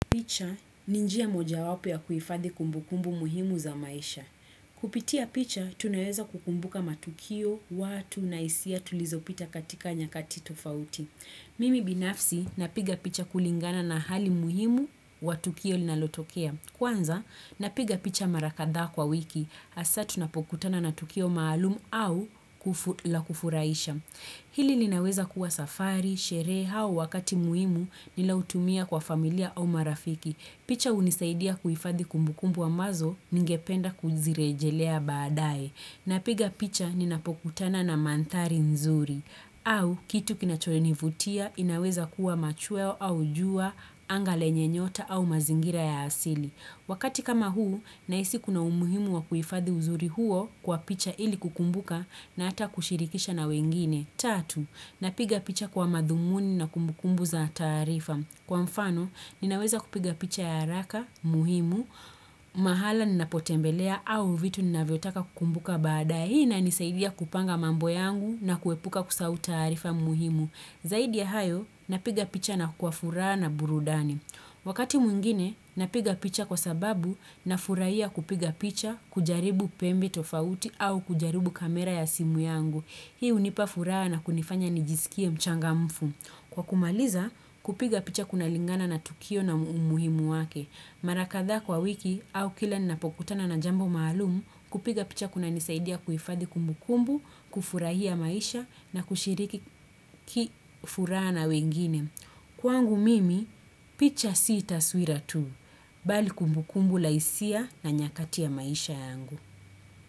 Picha, ni njia moja wapo ya kuhifadhi kumbukumbu muhimu za maisha. Kupitia picha, tunaweza kukumbuka matukio, watu, na hisia tulizo pita katika nyakati tufauti. Mimi binafsi, napiga picha kulingana na hali muhimu wa tukio linalotokea. Kwanza, napiga picha mara kadhaa kwa wiki. Hasa, tunapokutana na tukio maalumu au la kufurahisha. Hili linaweza kuwa safari, sherehe au wakati muhimu nilioutumia kwa familia au marafiki. Picha hunisaidia kuhifadhi kumbukumbu ambazo ningependa kuzirejelea baadae. Napiga picha ninapokutana na mandhari nzuri. Au kitu kinachonivutia inaweza kuwa machweo au jua, anga lenye nyota au mazingira ya asili. Wakati kama huu, nahisi kuna umuhimu wa kuhifadhi uzuri huo kwa picha ili kukumbuka na ata kushirikisha na wengine. Tatu, napiga picha kwa madhumuni na kumbukumbu za taarifa. Kwa mfano, ninaweza kupiga picha ya haraka, muhimu, mahala ninapotembelea au vitu ninavyotaka kukumbuka baadae. Hii inanisaidia kupanga mambo yangu na kuepuka kusahau taarifa muhimu. Zaidi ya hayo, napiga picha na kwa furaha na burudani. Wakati mwingine, napiga picha kwa sababu nafurahia kupiga picha, kujaribu pembi tofauti au kujaribu kamera ya simu yangu. Hii hunipa furaha na kunifanya nijisikie mchangamfu. Kwa kumaliza, kupiga picha kunalingana na tukio na umuhimu wake. Mara kadhaa kwa wiki au kila napokutana na jambo maalumu, kupiga picha kuna nisaidia kuhifadhi kumbukumbu, kufurahia maisha na kushiriki kifuraha na wengine. Kwangu mimi, picha si taswira tu, bali kumbukumbu la hisia na nyakati ya maisha yangu.